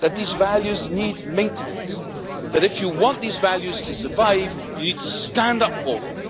but need maintenance and that, if you want these values to survive, you need to stand up for them.